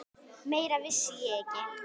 Meira vissi ég ekki.